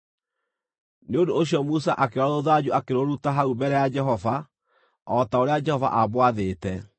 Nĩ ũndũ ũcio Musa akĩoya rũthanju akĩrũruta hau mbere ya Jehova, o ta ũrĩa Jehova aamwathĩte.